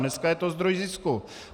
Dneska je to zdroj zisku!